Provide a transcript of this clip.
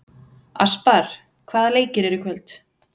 Aspar, hvaða leikir eru í kvöld?